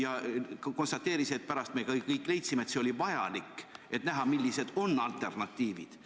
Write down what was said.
Aga ta konstateeris, et pärast me kõik leidsime, et see oli vajalik, et teada saada, millised on alternatiivid.